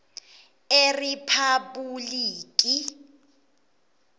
eriphabhulikhi